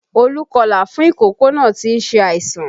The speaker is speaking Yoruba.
Olú kọlà fún ìkókó náà tí ń ṣe àìsàn